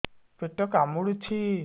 ପେଟ କାମୁଡୁଛି